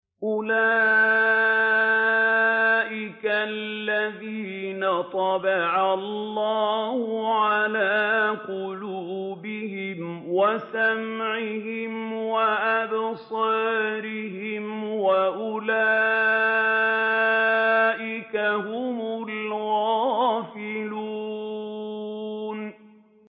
أُولَٰئِكَ الَّذِينَ طَبَعَ اللَّهُ عَلَىٰ قُلُوبِهِمْ وَسَمْعِهِمْ وَأَبْصَارِهِمْ ۖ وَأُولَٰئِكَ هُمُ الْغَافِلُونَ